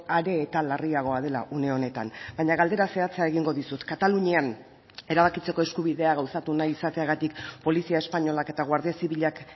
are eta larriagoa dela une honetan baina galdera zehatza egingo dizut katalunian erabakitzeko eskubidea gauzatu nahi izateagatik polizia espainolak eta guardia zibilak